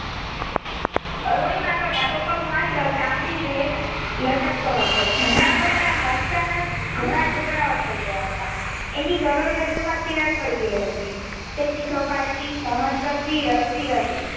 અરૂણિમાનો ડાબો પગ માત્ર ચામડીભેર લટકતો હતો જમણા પગના હાડકાના ઘણા ટુકડા થઈ ગયા હતા એની કરોડરજ્જુમાં તિરાડ પડી ગઈ હતી તે ચીસો પડતી સહન કરતી રડતી રહી.